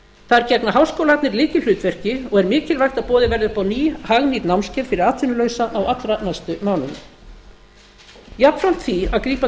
þar gegna háskólarnir lykilhlutverki og er mikilvægt að boðið verði upp á ný hagnýt námskeið fyrir atvinnulausa á allra næstu mánuðum jafnframt því að grípa